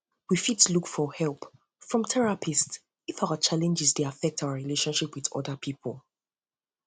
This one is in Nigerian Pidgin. we fit look for help from therapist if our challenge dey affect our relationship with oda pipo